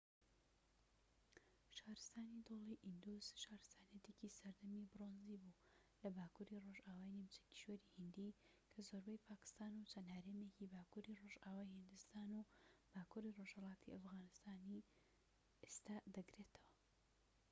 شارستانی دۆڵی ئیندوس شارستانیەتێکی سەردەمی برۆنزی بوو لە باکووری ڕۆژئاوای نیمچە کیشوەری هیندی کە زۆربەی پاکستان و چەند هەرێمێکی باکووری ڕۆژئاوای هیندستان و باکووری ڕۆژهەڵاتی ئەفغانستانی ئێستا دەگرێتەوە